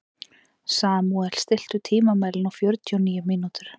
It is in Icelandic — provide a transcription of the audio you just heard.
Samúel, stilltu tímamælinn á fjörutíu og níu mínútur.